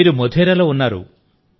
మీరు మోధేరాలో ఉన్నారు